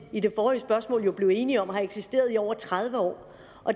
i det forrige spørgsmål blev enige om har eksisteret i over tredive år